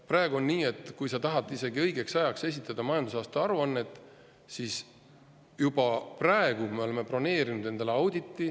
Praegu on nii, et isegi kui sa tahad õigeks ajaks esitada majandusaasta aruannet, siis peab sul juba olema broneeritud endale audit.